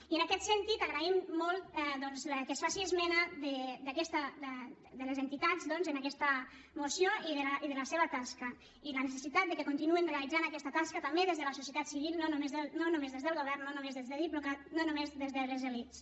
i en aquest sentit agraïm molt doncs que es faci esment de les entitats en aquesta moció i de la seva tasca i la necessitat que continuïn realitzant aquesta tasca també des de la societat civil no només des del govern no només des de diplocat no només des de les elits